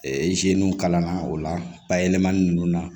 kalan na o la bayɛlɛmani ninnu na